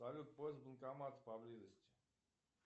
салют поиск банкомата поблизости